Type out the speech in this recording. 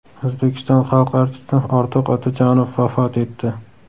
O‘zbekiston xalq artisti Ortiq Otajonov vafot etdi.